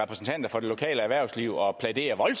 er